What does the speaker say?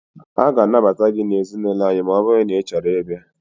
A ga anabata gị na ezinaụlọ anyị maọbụru na Ị chọrọ ị bia